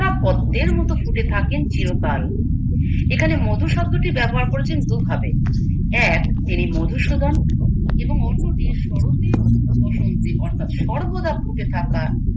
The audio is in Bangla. পদ্মের মতো ফুটে থাকেন চিরকাল এখানে মধু শব্দটি ব্যবহার করেছেন দুভাবে এক তিনি মধুসূধন এবং অন্যটি কি সরতে কি বসন্তে অর্থাৎ সর্বদা ফুটে থাকা